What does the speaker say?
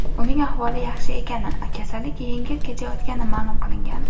Uning ahvoli yaxshi ekani, kasallik yengil kechayotgani ma’lum qilingan.